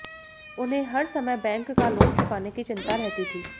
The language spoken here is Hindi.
उन्हें हर समय बैंक का लोन चुकाने की चिंता रहती थी